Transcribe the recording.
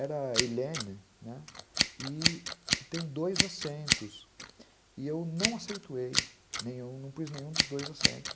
Era a Hélène, né, que tem dois acentos, e eu não acentuei, não pus nenhum dos dois acentos.